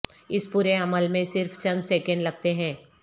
اس پورے عمل میں صرف چند سیکنڈ لگتے ہیں